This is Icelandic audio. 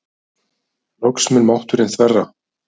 Loks mun mátturinn þverra.